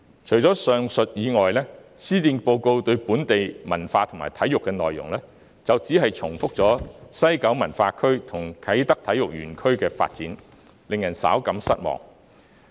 除了上述內容外，施政報告中有關本地文化和體育的內容，只是重複提及西九文化區和啟德體育園區的發展，令人稍感失望。